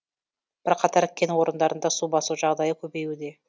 бірқатар кен орындарында су басу жағдайы көбеюде